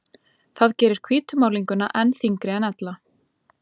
Það gerir hvítu málninguna enn þyngri en ella.